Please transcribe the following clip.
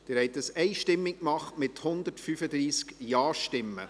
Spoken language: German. Sie haben dies einstimmig getan, mit 135 Ja- Stimmen.